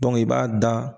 i b'a da